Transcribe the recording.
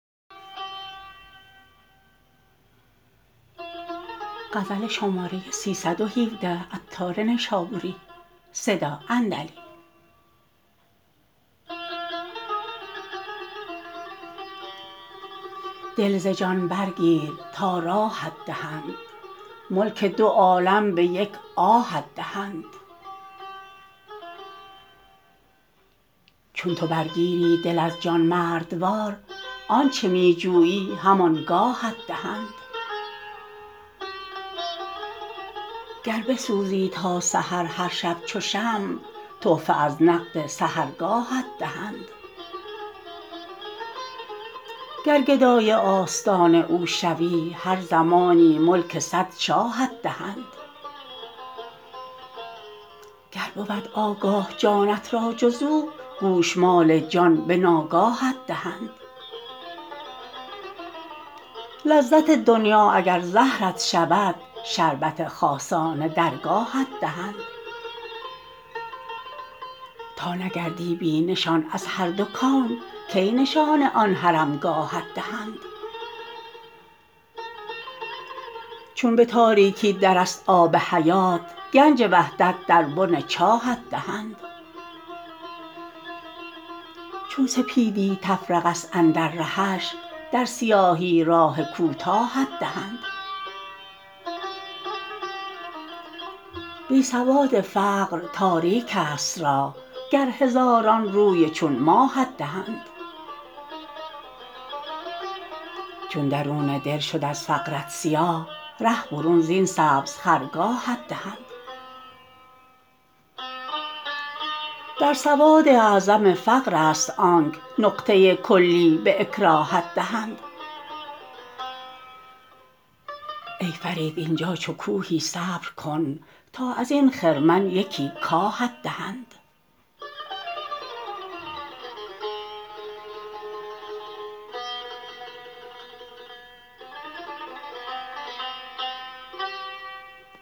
دل ز جان برگیر تا راهت دهند ملک دو عالم به یک آهت دهند چون تو برگیری دل از جان مردوار آنچه می جویی هم آنگاهت دهند گر بسوزی تا سحر هر شب چو شمع تحفه از نقد سحرگاهت دهند گر گدای آستان او شوی هر زمانی ملک صد شاهت دهند گر بود آگاه جانت را جز او گوش مال جان به ناگاهت دهند لذت دنیی اگر زهرت شود شربت خاصان درگاهت دهند تا نگردی بی نشان از هر دو کون کی نشان آن حرم گاهت دهند چون به تاریکی در است آب حیات گنج وحدت در بن چاهت دهند چون سپیدی تفرقه است اندر رهش در سیاهی راه کوتاهت دهند بی سواد فقر تاریک است راه گر هزاران روی چون ماهت دهند چون درون دل شد از فقرت سیاه ره برون زین سبز خرگاهت دهند در سواد اعظم فقر است آنک نقطه کلی به اکراهت دهند ای فرید اینجا چو کوهی صبر کن تا ازین خرمن یکی کاهت دهند